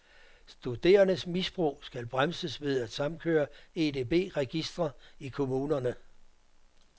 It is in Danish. Studerendes misbrug skal bremses ved at samkøre EDB registre i kommunerne.